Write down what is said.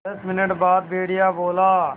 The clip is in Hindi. दस मिनट बाद भेड़िया बोला